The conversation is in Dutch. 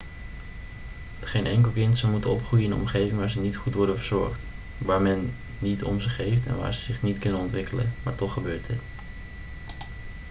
geen enkel kind zou moeten opgroeien in een omgeving waar ze niet goed worden verzorgd waar men niet om ze geeft en waar ze zich niet kunnen ontwikkelen maar toch gebeurt dit